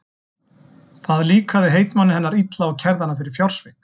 Það líkaði heitmanni hennar illa og kærði hana fyrir fjársvik.